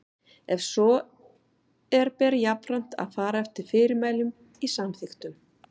Ef svo er ber jafnframt að fara eftir fyrirmælum í samþykktunum.